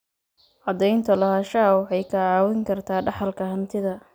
Cadaynta lahaanshaha waxay kaa caawin kartaa dhaxalka hantida.